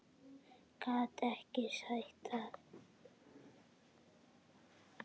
Gat ekki sagt það.